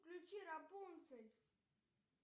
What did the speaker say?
включи рапунцель